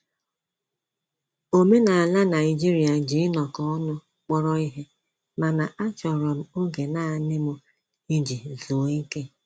Omenala Naijiria ji inọkọ ọnụ kpọrọ ihe, mana a chọrọ m oge nanị m iji zụọ ike